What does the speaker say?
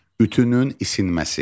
Ütünün isinməsi.